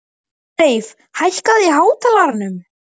Ásleif, hækkaðu í hátalaranum.